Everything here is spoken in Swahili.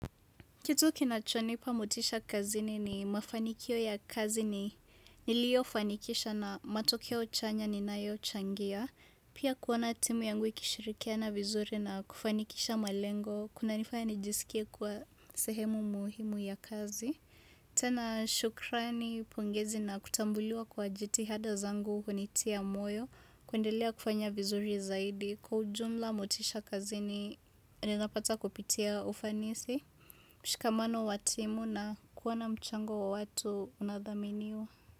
Kitu kinachonipa motisha kazini ni mafanikio ya kazi ni nilio fanikisha na matokeo chanya ninayo changia Pia kuona timu yangu ikishirikiana vizuri na kufanikisha malengo, kunanifaya nijisikie kuwa sehemu muhimu ya kazi tena shukrani, pongezi na kutambuliwa kwa jitihada zangu hunitia moyo, kuendelea kufanya vizuri zaidi. Kwa ujumla motisha kazini ninapata kupitia ufanisi, mshikamano wa timu na kuona mchango wa watu una thaminiwa.